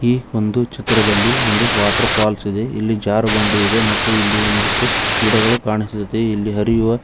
ಈ ಒಂದು ಚಿತ್ರದಲ್ಲಿ ಒಂದು ವಾಟರ್ಫಾಲ್ಸ್ ಇದೆ ಇಲ್ಲಿಜಾರು ಬಂಡಿ ಇದೆ ಮತ್ತು ಇಲ್ಲಿ ಒಂದಿಷ್ಟು ಗಿಡಗಳು ಕಾಣಿಸುತ್ತೆ ಇಲ್ಲಿ ಹರಿಯುವ--